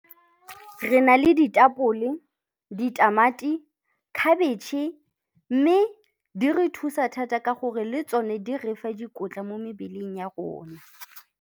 Re na le ditapole, ditamati, khabetšhe, mme di re thusa thata ka gore le tsone di re fa dikotla mo mebeleng ya rona.